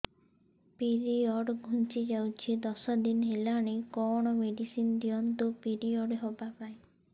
period ଘୁଞ୍ଚି ଯାଇଛି ଦଶ ଦିନ ହେଲାଣି କଅଣ ମେଡିସିନ ଦିଅନ୍ତୁ ପିରିଅଡ଼ ହଵା ପାଈଁ